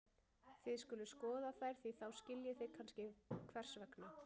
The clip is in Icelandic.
Þið skuluð skoða þær því þá skiljið þið kannski hvers vegna.